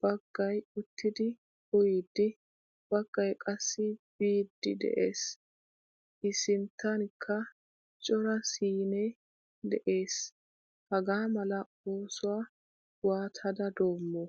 baggaay uttidi uyidi, baggaay qassi biidi de'ees. I sinttankka cora siine de'ees. Hagaamala oosuwaa waattada doommo?